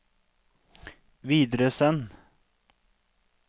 videresend